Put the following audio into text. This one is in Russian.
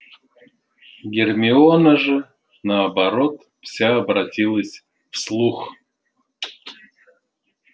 гермиона же наоборот вся обратилась в слух